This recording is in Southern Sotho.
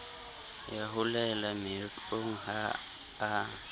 ya holelang moetlong ha a